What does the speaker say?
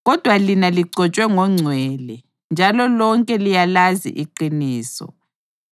Kodwa lina ligcotshwe ngoNgcwele, njalo lonke liyalazi iqiniso. + 2.20 Eminye imibhalo ithi njalo liyazazi zonke izinto